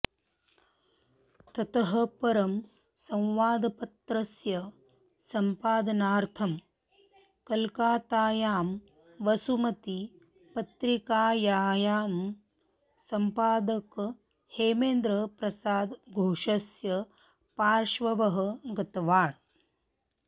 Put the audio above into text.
ततःपरं संवादपत्रस्य सम्पादनार्थं कलकातायां वसुमती पत्रिकायायाः सम्पादक हेमेन्द प्रसाद घोषस्य पार्श्वेव गतवान्